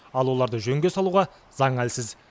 ал оларды жөнге салуға заң әлсіз